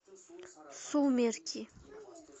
сумерки